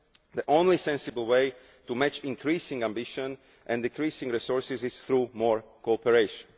The only sensible way to match increasing ambition and decreasing resources is through more cooperation.